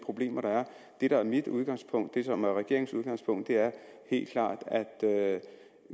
problemer der er det der er mit udgangspunkt og det som er regeringens udgangspunkt er helt klart at